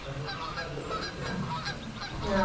Para a gente foi um prazer e um privilégio muito muito grande.